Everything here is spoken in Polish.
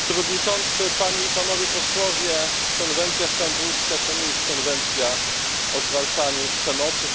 Panie Przewodniczący! Panie i Panowie Posłowie! Konwencja stambulska to nie jest konwencja o zwalczaniu przemocy.